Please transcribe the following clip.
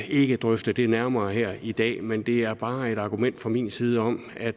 ikke drøfte det nærmere her i dag men det er bare et argument fra min side om at